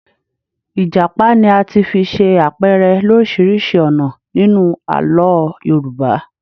Ìjàpá ni a ti fi ṣe àpẹrẹ lọ́ríṣiríṣi ọ̀nà nínú Àlọ́ Yorùbá.